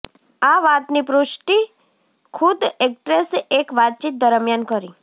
આ વાતની પુષ્ટિ ખુદ એક્ટ્રેસે એક વાતચીત દરમ્યાન કરી